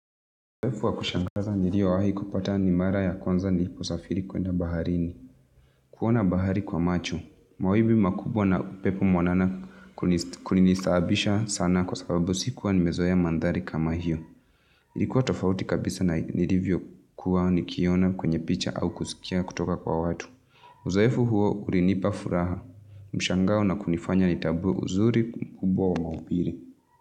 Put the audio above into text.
Uzoefu wa kushangaza niliowahi kupata ni mara ya kwanza niliposafiri kwenda baharini. Kuona bahari kwa macho. Mawimbi makubwa na upepo mwanana kunisahabisha sana kwa sababu sikuwa nimezoea mandhari kama hiyo. Ilikuwa tofauti kabisa na nilivyo kuwa nikiona kwenye picha au kusikia kutoka kwa watu. Uzoefu huo urinipa furaha. Mshangao na kunifanya nitabuwe uzuri kubwa wa maubile.